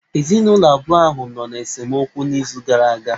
Ezinụlọ abụọ ahụ nọ n'esemokwu n'izu gara aga.